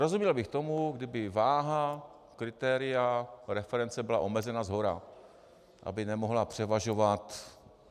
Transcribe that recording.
Rozuměl bych tomu, kdyby váha kritéria reference byla omezena shora, aby nemohla převažovat.